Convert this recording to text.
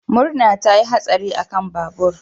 Murna ta yi hatsari akan babur.